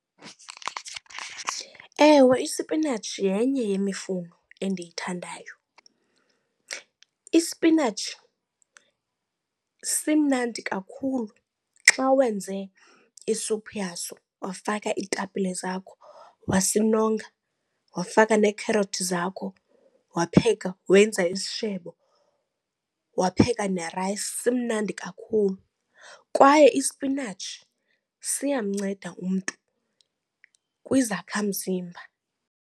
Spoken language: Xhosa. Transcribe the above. Ewe, isipinatshi yenye yemifuno endiyithandayo. Isipinatshi simnandi kakhulu xa wenze isuphu yaso wafaka iitapile zakho wasinonga, Wafaka neekherothi zakho wapheka, wenza isishebo wapheka nerayisi, simnandi kakhulu. Kwaye isipinatshi siyamnceda umntu kwizakhamzimba.